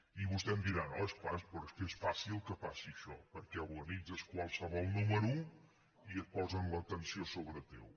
i vostè em dirà no és clar però és que és fàcil que passi això perquè organitzes qualsevol número i et posen l’atenció a sobre teu